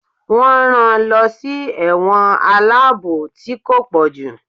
won ran lọ sí ẹ̀wọ̀n aláàbò tí ko pojú.